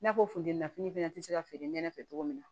N'a fɔ funteni fɛnɛ te se ka feere nɛnɛ fɛ cogo min na